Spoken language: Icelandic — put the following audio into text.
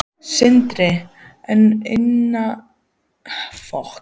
Sindri: En innan fjármálageirans, einhverjar sameiningar?